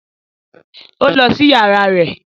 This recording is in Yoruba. Ó lọ sí yàrá rẹ̀